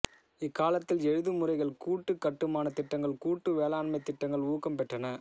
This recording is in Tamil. இக்காலத்தில் எழுதுமுறைகள் கூட்டு கட்டுமானத் திட்டங்கள் கூட்டு வேளாண்மைத் திட்டங்கள் ஊக்கம் பெற்றன